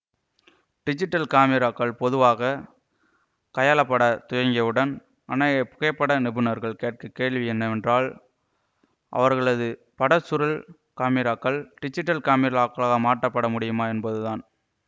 digital காமிராக்கள் பொதுவாக கையாளப்படத் துவங்கியவுடன் அநேக புகைப்பட நிபுணர்கள் கேட்ட கேள்வி என்னவென்றால் அவர்களது படச் சுருள் காமிராக்கள் டிஜிட்டல் காமிராக்களாக மாற்றப்பட முடியுமா என்பதுதான்